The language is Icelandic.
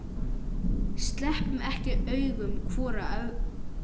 Sleppum ekki augum hvor af öðrum.